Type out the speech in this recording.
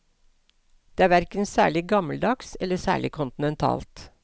Det er hverken særlig gammeldags eller særlig kontinentalt.